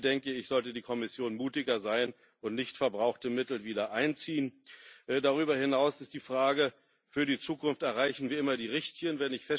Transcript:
Hier, denke ich, sollte die Kommission mutiger sein und nichtverbrauchte Mittel wieder einziehen. Darüber hinaus ist die Frage für die Zukunft Erreichen wir immer die Richtigen?